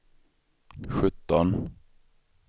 sjutton